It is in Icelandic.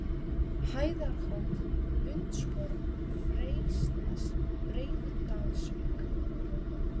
Hæðarhóll, Hundshorn, Freysnes, Breiðdalsvík